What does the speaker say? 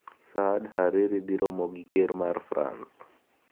Saad Hariri dhi romo gi ker mar France